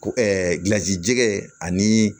Ko gilasi jɛgɛ ani